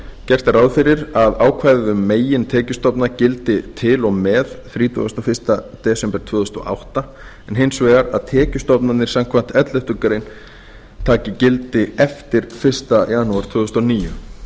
gert er ráð fyrir að ákvæðið um megintekjustofna gildi til og með þrítugasta og fyrsta desember tvö þúsund og átta en hins vegar að tekjustofnarnir samkvæmt elleftu greinar taki gildi eftir fyrsta janúar tvö þúsund og níu